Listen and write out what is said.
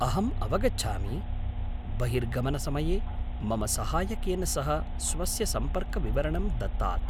अहम् अवगच्छामि। बहिर्गमनसमये मम सहायकेन सह स्वस्य सम्पर्कविवरणं दत्तात्।